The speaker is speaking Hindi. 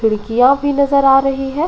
खिड़कियाँ भी नजर आ रही हैं।